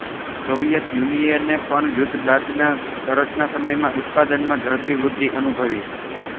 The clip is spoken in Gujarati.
સોવિયેત યુનિયને પણ યુદ્ધ બાદના તરતના સમયમાં ઉત્પાદનમાં ઝડપી વૃદ્ધિ અનુભવી